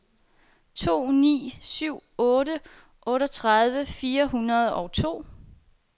to ni syv otte otteogtredive fire hundrede og to